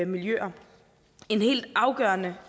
miljøer en helt afgørende